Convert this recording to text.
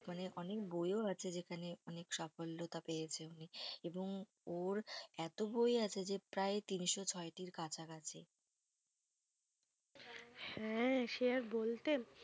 মানে অনেক বইও আছে যেখানে অনেক সাফল্যতা পেয়েছে উনি। এবং ওর এত বই আছে যে প্রায় তিনশো ছয়টির কাছাকাছি হ্যাঁ সে আর বলতে,